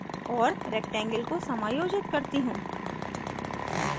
और rectangle को समायोजित करती हूँ